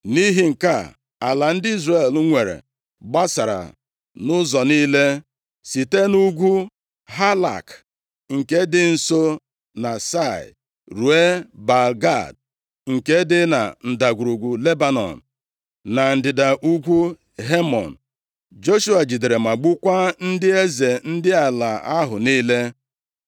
Nʼihi nke a, ala ndị Izrel nwere gbasara nʼụzọ niile site nʼugwu Halak, nke dị nso na Sia, ruo Baal-Gad nke dị na Ndagwurugwu Lebanọn, na ndịda ugwu Hemon. Joshua jidere ma gbukwaa ndị eze ndị ala ahụ niile.